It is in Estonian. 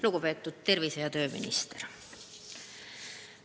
Lugupeetud tervise- ja tööminister!